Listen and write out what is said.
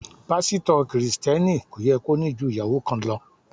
Pásítọ̀ Kristẹni kò yẹ kó ní ju ìyàwó kan lọ.